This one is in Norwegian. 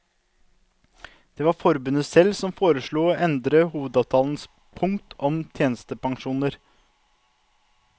Det var forbundet selv som foreslo å endre hovedavtalens punkt om tjenestepensjoner.